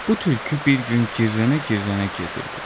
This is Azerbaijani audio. Bu tülkü bir gün gərrənə-gərrənə gedirdi.